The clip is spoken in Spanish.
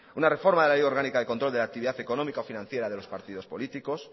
una reforma de la ley orgánica de control de la actividad económica o financiera de los partidos políticos